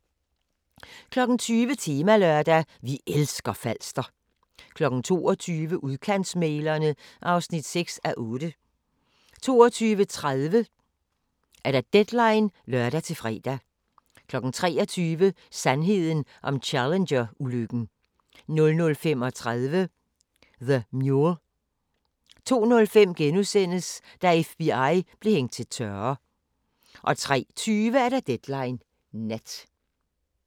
20:00: Temalørdag: Vi elsker Falster 22:00: Udkantsmæglerne (6:8) 22:30: Deadline (lør-fre) 23:00: Sandheden om Challenger-ulykken 00:35: The Mule 02:05: Da FBI blev hængt til tørre * 03:20: Deadline Nat